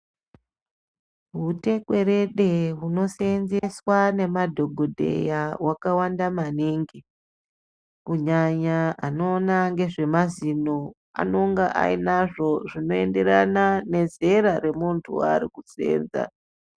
Hutekwerede huno seenzeswa nemad hokodheya hwakawanda maningi kunyanya anoona ngezvemazino anonga ainazvo zvino enderana nezera remuntu waari kuseenza.